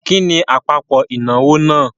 Kí ni àpapọ̀ ìnáwó náà?